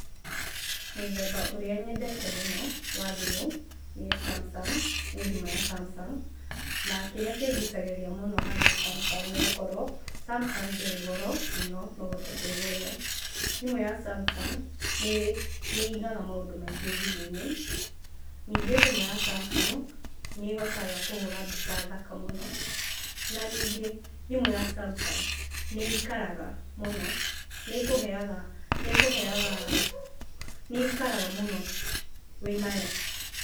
Mũthemba ũrĩa nyendete mũno wa thimũ nĩ Samsung, nĩ thimũ ya Samsung. Na kĩrĩa kĩngũcagĩrĩria mũno harĩ Samsung nĩgũkorwo Samsung ndĩrĩ goro mũno no hote kwĩgũrĩra. Thimũ ya Samsung nĩigaga maũndũ maingĩ thimũ-inĩ, ningĩ thimũ ya Samsung nĩhotaga kũhũra mbica thaka mũno. Na ningĩ thimũ ya Samsung nĩikaraga mũno, nĩkũheyaga nĩkũheyaga, nĩikaraga mũno wĩnayo.